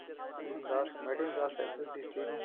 ਹੁਣ ਦਸ committee ਨੂੰ ਦਸ ਇੱਧਰ district ਨੂੰ